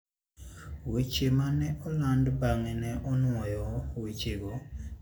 Weche ma ne oland bang'e ne onwoyo wechego, ka wacho ni Barrick ne oyie chulo omenda ma sirkal ne dwaro kuomeno.